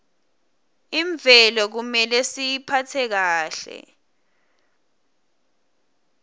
imvelo kumele siyiphatse kahle